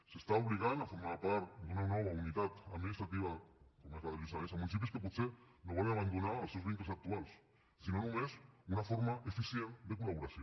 s’està obligant a formar part d’una nova unitat administrativa com és la del lluçanès municipis que potser no volen abandonar els seus vincles actuals sinó només una forma eficient de collaboració